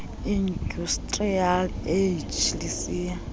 industrial age lisiya